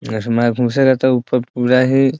इसमें घुसेंगा तो ऊपर पूरा ही --